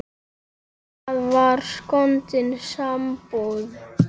Það var skondin sambúð.